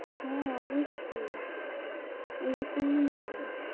হ্যাঁ অবশ্যই এরকমি হয়।